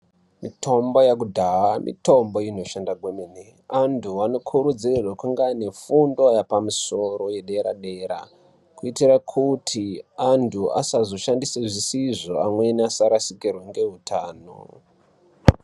Mitombo yekudhaya mitombo inoshanda kwemene antu anokurudzirwa kunge ane fundo yepmusoro yedera dera kuitira kuti antu asazoshanda zvisizvo amweni asazorasikirwa ngeutano.